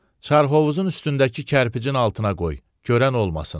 Çarhovuzun üstündəki kərpicin altına qoy, görən olmasın.